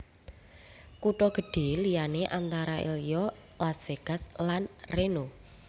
Kutha gedhé liyané antara liya Las Vegas lan Reno